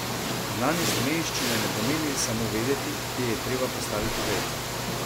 Znanje slovenščine ne pomeni samo vedeti, kje je treba postaviti vejico.